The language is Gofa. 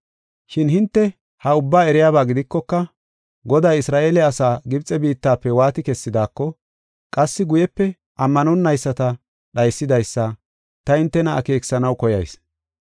Shin hinte ha ubbaa eriyaba gidikoka, Goday Isra7eele asaa Gibxe biittafe waati kessidaako, qassi guyepe ammanonayisata dhaysidaysa ta hintena akeekisanaw koyayis.